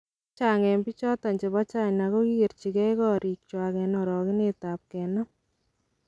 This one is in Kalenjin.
Chechang' en bichoton chebo China kokigerchigei korik chwa en orogenet ab kenam.